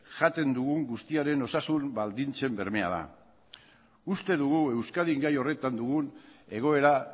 jaten dugun guztiaren osasun baldintzen bermea da uste dugu euskadin gai horretan dugun egoera